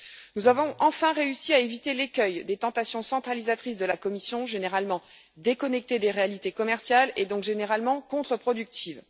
Nous avons enfin réussi à éviter l'écueil des tentations centralisatrices de la Commission, généralement déconnectées des réalités commerciales et donc généralement contre productives.